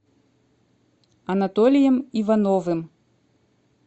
анатолием ивановым